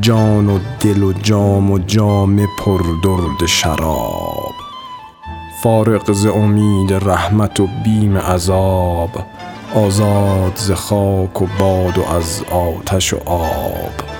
جان و دل و جام و جامه پر درد شراب فارغ ز امید رحمت و بیم عذاب آزاد ز خاک و باد و از آتش و آب